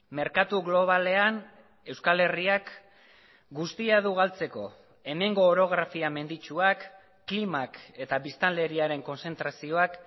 merkatu globalean euskal herriak guztia du galtzeko hemengo orografia menditsuak klimak eta biztanleriaren kontzentrazioak